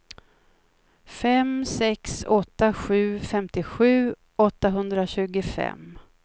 fem sex åtta sju femtiosju åttahundratjugofem